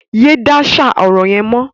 Yé dáṣà ọ̀rọ̀ yẹn mọ́!